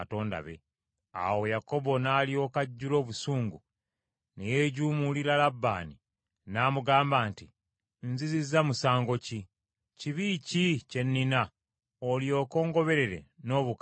Awo Yakobo n’alyoka ajjula obusungu ne yeejuumulira Labbaani, n’amugamba nti, “Nzizizza musango ki? Kibi ki kye nnina, olyoke ongoberere n’obukaali butyo?